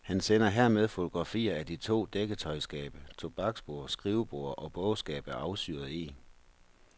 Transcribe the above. Han sender hermed fotografier af to dækketøjsskabe, tobaksbord, skrivebord og bogskab af afsyret eg.